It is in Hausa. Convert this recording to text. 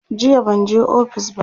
jiya banje ofis ba